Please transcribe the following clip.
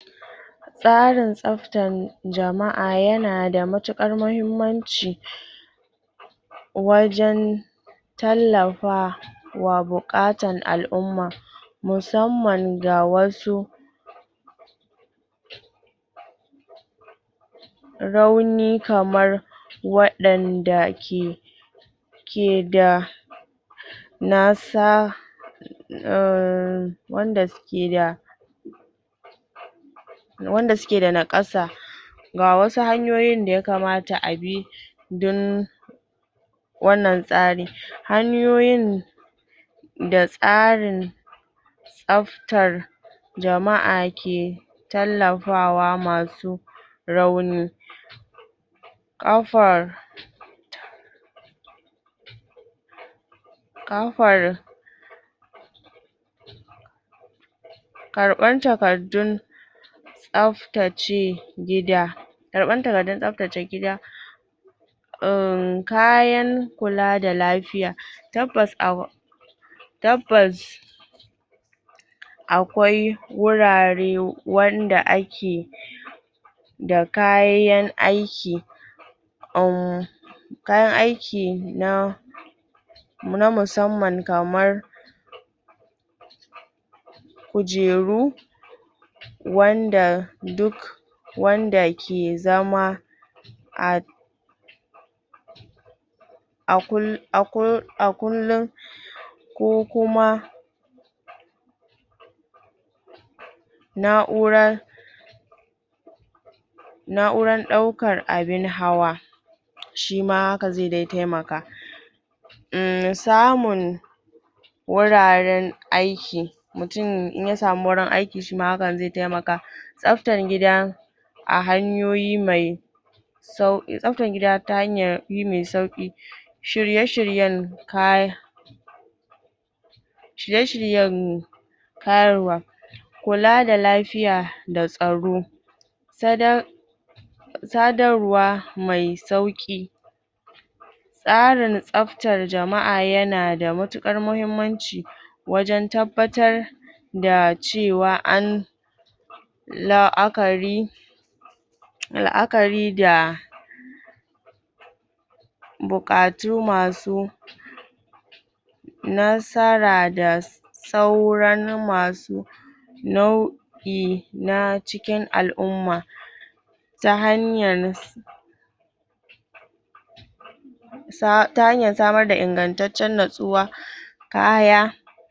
Tsarin tsabtar jama'a yana da matuƙar mahimmanci wajen tallafa wa buƙatan al'umma musamman da wasu rauni kamar waɗanda ke ke da nasa umm, wanda suke da wanda suke da naƙasa ga wasu hanyoyin da yakamata a bi don wannan tsari hanyoyin da tsarin tsabtar jama'a ke tallafawa masu raunin ƙafar ƙafar karɓar takardun tsabtace gida karɓar takardun tsabtace gida um, kayan kula da lafiya tabbas a tabbas akwai wurare wanda ake da kayan aiki um, kayan aiki na na musamman kamar kujeru wanda duk wanda ke zama a a kullun ko kuma na'urar na'urar ɗaukan abin hawa shi ma haka zai dai taimaka umm, samun wuraren aiki, mutun in ya samu wurin aiki shi ma hakan zai taimaka tsabtan gida a hanyoyi mai tsabtar gida ta hanyar yi mai sauƙi shirye-shiryen kaya shirye-shiryen ƙaruwa kula da lafiya da tsaro ta da sadarwa mai sauƙi tsarin tsabtar jama'a yana da matuƙar mahimmanci wajen tabbatar da cewa an la'akari la'akari da buƙatu masu nasara da sauran masu nau'i na cikin al'umma ta hanyar ta hanyar samar da ingantacciyar natsuwa kaya.